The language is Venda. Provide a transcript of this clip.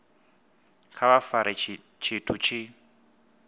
kha vha fare tshithu tshi